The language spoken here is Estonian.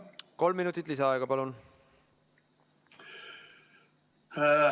Kolm minutit lisaaega, palun!